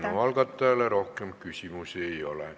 Eelnõu algataja esindajale rohkem küsimusi ei ole.